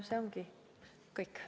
See ongi kõik.